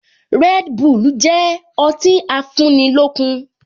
Red bull jẹ ọtí afúnilókun